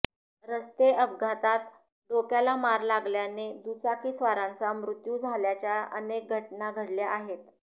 रस्ते अपघातात डोक्याला मार लागल्याने दुचाकीस्वारांचा मृत्यू झाल्याच्या अनेक घटना घडल्या आहेत